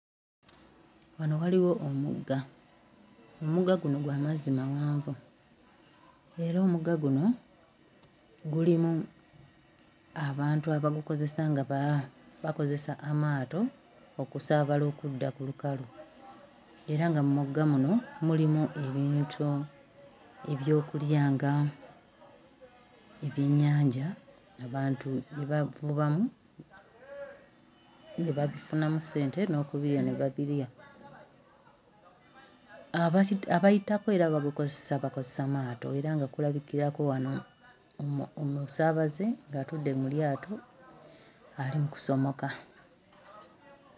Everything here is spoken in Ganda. Wano waliwo omugga omugga guno gwa mazzi mawanvu era omugga guno gulimu abantu abagukozesa nga ba bakozesa amaato okusaabala okudda ku lukalu era nga mu mugga muno mulimu ebintu ebyokulya nga ebyennyanja abantu bye bavubamu ne babifunamu ssente n'okubirya ne babirya abazi abayitako era babikozesa bakozesa maato era nga kulabikirako wano omu omusaabaze ng'atudde mu lyato ali mu kusomoka.